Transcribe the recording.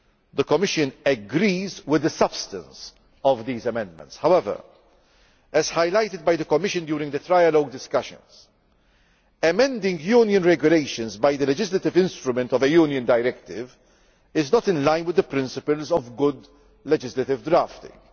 The Commission agrees with the substance of these amendments. However, as highlighted by the Commission during the trilogue discussions, amending Union regulations by the legislative instrument of a Union directive is not in line with the principles of good legislative drafting.